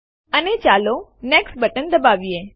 અને ચાલો next button દબાવીએ